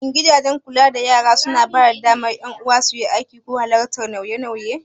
Shin gidajen kula da yara suna ba da damar ƴan uwa suyi aiki ko halartar wasu nauye-nauyen?